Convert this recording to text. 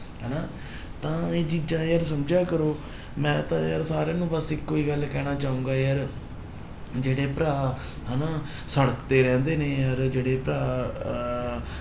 ਹਨਾ ਤਾਂ ਇਹ ਚੀਜ਼ਾਂ ਯਾਰ ਸਮਝਿਆ ਕਰੋ ਮੈਂ ਤਾਂ ਯਾਰ ਸਾਰਿਆਂ ਨੂੰ ਬਸ ਇੱਕੋ ਹੀ ਗੱਲ ਕਹਿਣਾ ਚਾਹਾਂਗਾ ਯਾਰ, ਜਿਹੜੇ ਭਰਾ ਹਨਾ ਸੜਕ ਤੇ ਰਹਿੰਦੇ ਨੇ ਯਾਰ ਜਿਹੜੇ ਭਰਾ ਅਹ